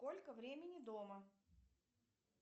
сколько времени дома